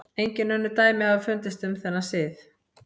Engin önnur dæmi hafa fundist um þennan sið.